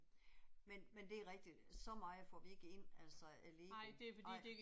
Men men det er rigtigt, så meget får vi ikke ind, altså, af Lego, ej